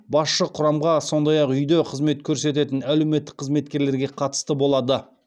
басшы құрамға сондай ақ үйде қызмет көрсететін әлеуметтік қызметкерлерге қатысты болады